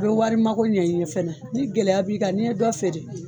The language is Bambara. I bɛ wari mago ɲan i ye fɛnɛ, ni gɛlɛya b'i kan n'i ye dɔ feere!